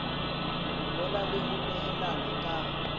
ngola le ho nehelana ka